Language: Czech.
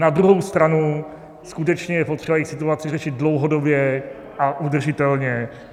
Na druhou stranu skutečně je potřeba jejich situaci řešit dlouhodobě a udržitelně.